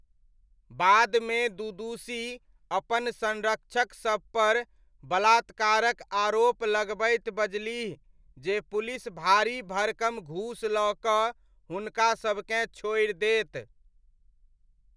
बादमे दुदुशी अपन संरक्षक सबपर बलात्कारक आरोप लगबैत बजलीह जे पुलिस भाड़ी भड़कम घूस लऽ कऽ हुनकासबकेँ छोड़ि देत।